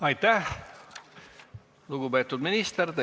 Aitäh, lugupeetud minister!